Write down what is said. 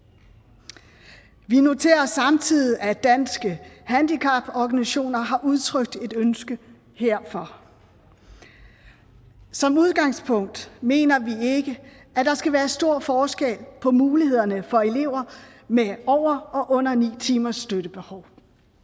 vi noterer os samtidig at danske handicaporganisationer har udtrykt et ønske herfor som udgangspunkt mener vi ikke at der skal være stor forskel på mulighederne for elever med over og under ni timers støttebehov